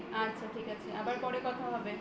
আচ্ছা ঠিক আছে আবার পরে কথা হবে